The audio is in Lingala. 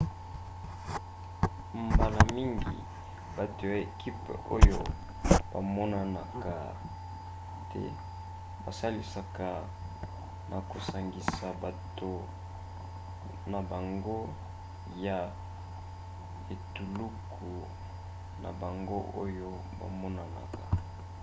mbala mingi bato ya ekipe oyo bamonanaka te basalisaka na kosangisa bato na bango ya etuluku na bango oyo bamonanaka